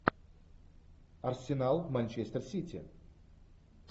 арсенал манчестер сити